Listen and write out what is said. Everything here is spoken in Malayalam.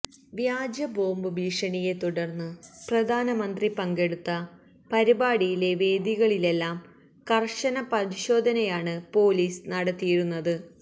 വ്യാജ ബോംബ് ഭീഷണിയെ തുടര്ന്ന് പ്രധാനമന്ത്രി പങ്കെടുത്ത പരിപാടിയിലെ വേദികളിലെല്ലാം കര്ശന പരിശോധനയാണ് പോലീസ് നടത്തിയിരുന്നത്